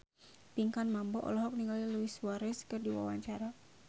Pinkan Mambo olohok ningali Luis Suarez keur diwawancara